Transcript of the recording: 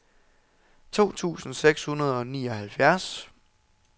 to tusind seks hundrede og nioghalvfjerds